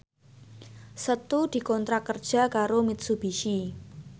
Setu dikontrak kerja karo Mitsubishi